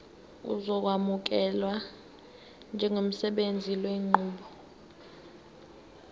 uzokwamukelwa njengosebenzisa lenqubo